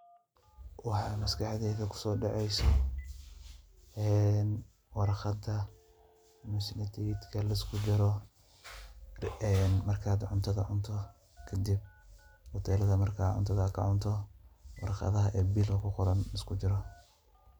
Waxaa maskaxdeyda ku soodaceyso warkhada mise tikitka luskujaro marka aad cuntada cunto kadib hoteelada marka cuntada ka cunto warqadaha biilka ku qoran luskujaro.